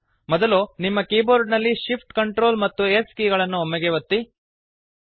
ಮೊದಲು ನಿಮ್ಮ ಕೀಬೋರ್ಡ ನಲ್ಲಿ shift Ctrl ಮತ್ತು s ಕೀ ಗಳನ್ನು ಒಮ್ಮೆಗೇ ಒತ್ತಿ